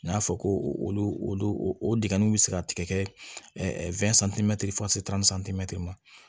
N y'a fɔ ko olu olu o dingɛnnu bɛ se ka tigɛ ma